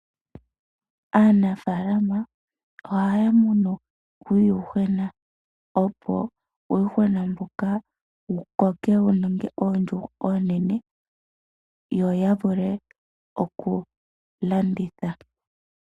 Aanafalama ohaya munu uuyuhwena opo uuyuhwena mbuka wu koke, wu ninge oondjuhwa oonene. Yo ya vule oku wu landitha.